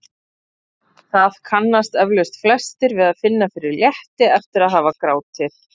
Það kannast eflaust flestir við að finna fyrir létti eftir að hafa grátið.